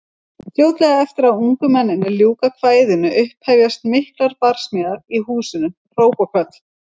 Fljótlega eftir að ungu mennirnir ljúka kvæðinu upphefjast miklar barsmíðar í húsinu, hróp og köll.